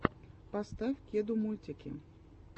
поставь кеду мультики